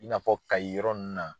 I n'a fɔ Kayi yɔrɔ ninnu na.